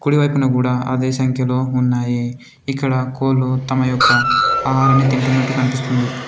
కుడివైపున కూడా అదే సంఖ్యలో ఉన్నాయి. ఇక్కడ కోలు తమ యొక్క ఆహారన్ని తింటున్నట్టు కనిపిస్తుంది.